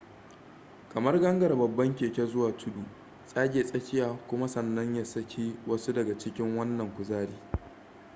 kamar gangara babban keke zuwa tudu tsage tsakiya kuma sannan ya saki wasu daga cikin wannan kuzari